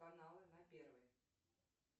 каналы на первый